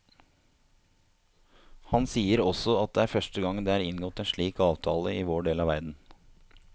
Han sier også at det er første gang det er inngått en slik avtale i vår del av verden.